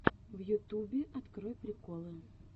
в ютубе открой приколы